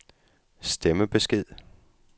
stemmebesked